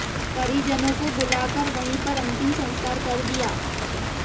परिजनों को बुला कर वहीं पर अंतिम संस्कार कर दिया